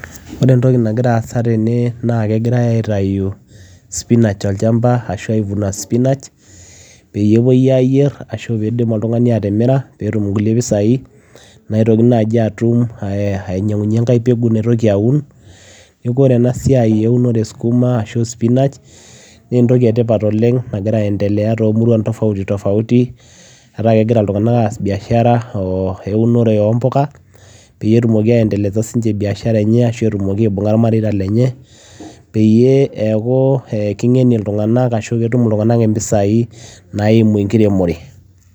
Oree entokii nagiraa aasa tene naa kigirae aitayuu spinach tolchamba peyiee emirii peyiee etumi mpisai nainyangunyie embueguu naitokii aun tekuu ene tipat ena siai too muruan tofauti peyiee etumii mpisai naimuu enkiremoree